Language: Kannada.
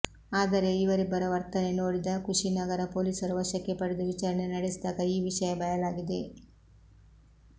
ಆದರೆ ಇವರಿಬ್ಬರ ವರ್ತನೆ ನೋಡಿದ ಕುಶಿ ನಗರ ಪೊಲೀಸರು ವಶಕ್ಕೆ ಪಡೆದು ವಿಚಾರಣೆ ನಡೆಸಿದಾಗ ಈ ವಿಷಯ ಬಯಲಾಗಿದೆ